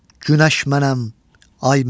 Günəş mənəm, ay mənəm.